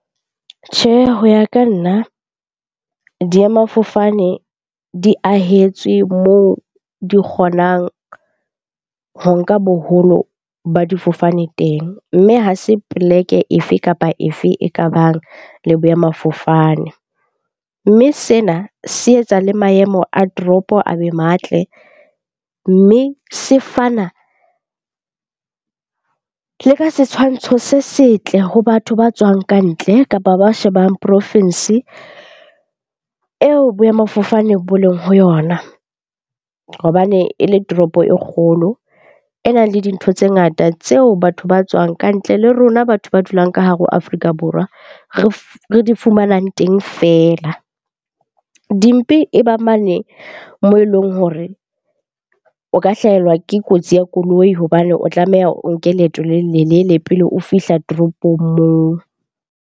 Tjhe, ho ya ka nna diemafofane di ahetswe moo di kgonang ho nka boholo ba difofane teng. Mme ha se poleke e fe kapa e fe e kabang le boemafofane. Mme sena se etsa le maemo a toropo a be matle, mme se fana le ka setshwantsho se setle ho batho ba tswang ka ntle kapa ba shebang porofensi eo boemafofane bo leng ho yona. Hobane e le toropo e kgolo, e nang le dintho tse ngata tseo batho ba tswang ka ntle le rona batho ba dulang ka hare ho Afrika Borwa re di fumanang teng feela. Dimpe e ba mane moo e leng hore o ka hlahelwa ke kotsi ya koloi hobane o tlameha o nke leeto le lelelele pele o fihla toropong moo.